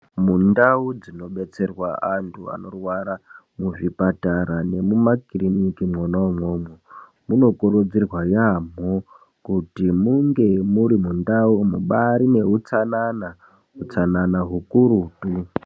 Mundau dzinobetserwa antu anorwara, muzvipatara nemumakiriniki mwona umwomwo, munokurudzirwa yaamho kuti munge muri mundau mubaari neutsanana, utsananana hukurutu.